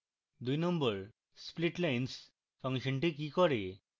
2 splitlines ফাংশনটি কি করে